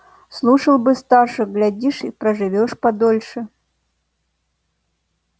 слушал бы старших глядишь проживёшь подольше